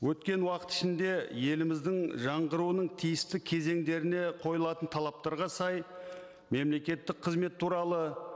өткен уақыт ішінде еліміздің жаңғыруының тиісті кезеңдеріне қойылатын талаптарға сай мемлекеттік қызмет туралы